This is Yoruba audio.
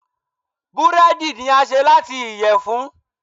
búredì ni a ṣe lati iyẹfun.